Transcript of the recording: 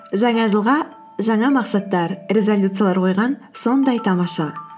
жаңа жылға жаңа мақсаттар резолюциялар қойған сондай тамаша